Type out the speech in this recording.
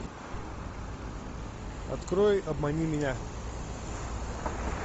открой обмани меня